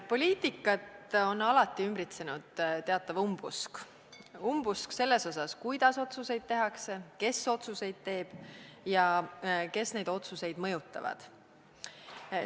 Poliitikat on alati ümbritsenud teatav umbusk, umbusk selles osas, kuidas otsuseid tehakse, kes otsuseid teeb ja kes otsuseid mõjutavad.